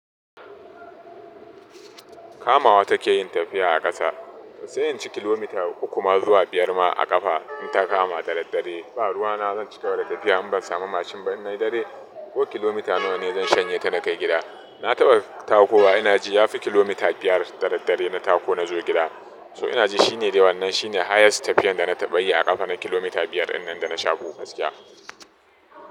Kamawa take yin tafiya a ƙasa, sai in ci kilomita uku ma zuwa biyar ma a ƙafa in ta kama da daddare. Ba ruwa na zan cigaba da tafiya in ban samu mashin ba nai yi dare ko kilomita nawa ne zan shanye ta na kai gida. Na taɓa takowa ina ji ya fi kilomita biyar da daddare na tako na zo gida. So ina ji shi ne dai wannan shi ne highest tafiyar da na taɓa yi a ƙafa na kilomita biyar in nan da na shako gaskiya.